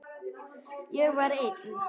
Ég var einn.